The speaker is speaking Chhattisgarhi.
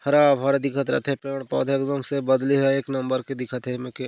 हारा-भरा दिखत रथे पेड़-पौधे एकदम से बदली ह एक नंबर के दिखत हे ए में के--